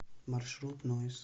маршрут ноис